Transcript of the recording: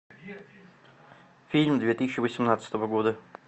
фильм две тысячи восемнадцатого года